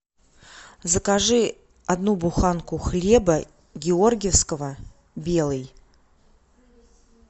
закажи одну буханку хлеба георгиевского белый